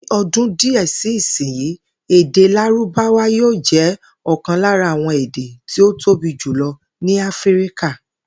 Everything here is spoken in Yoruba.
Ní o̩dún díè sí ìsinyìí, èdè Lárúbáwá yóò jé̩ ò̩kan lára àwo̩n èdè tí ó tóbi jùlo̩ ní Áfíríkà